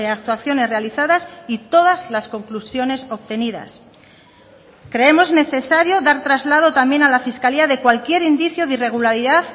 actuaciones realizadas y todas las conclusiones obtenidas creemos necesario dar traslado también a la fiscalía de cualquier indicio de irregularidad